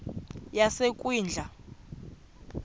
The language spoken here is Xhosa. yasekwindla